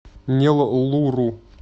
неллуру